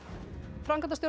framkvæmdastjóri